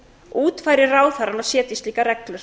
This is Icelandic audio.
útfæri ráðherrann og setji slíkar reglur